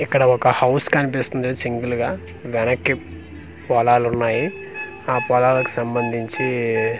ఇక్కడ ఒక హౌస్ కన్పిస్తుంది సింగిల్ గా వెనక్కి పొలాలున్నాయి ఆ పొలాలకి సంబంధించి.